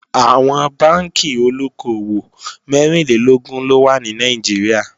Àwọn Bánkì olóko-òwò mẹ́rìnlélógún ló wà ní Nàìjíríà